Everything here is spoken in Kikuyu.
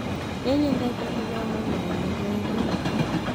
nĩnyendete gũthoma maũndu merũ